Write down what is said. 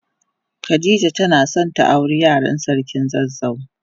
Khadijah tana son ta aure Yaran sarkin zazzau.